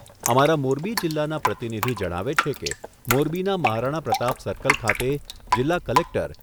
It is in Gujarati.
અમારા મોરબી જિલ્લાના પ્રતિનિધિ જણાવે છે કે, મોરબીના મહારાણા પ્રતાપ સર્કલ ખાતે જીલ્લા કલેક્ટર